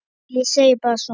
Nei, ég segi bara svona.